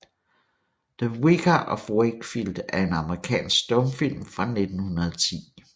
The Vicar of Wakefield er en amerikansk stumfilm fra 1910